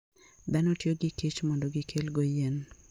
Dhano tiyo gi kich mondo gikelgo yien.